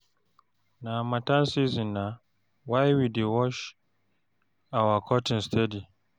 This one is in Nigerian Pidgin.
Na harmattan season na why we dey wash our curtain steady.